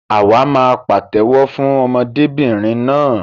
Àwa máa pàtéwọ́ fún ọmọdébìnrin náà.